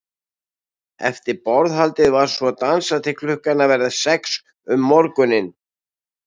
Eftir borðhaldið var svo dansað til klukkan að verða sex um morguninn.